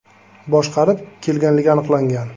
boshqarib kelganligi aniqlangan.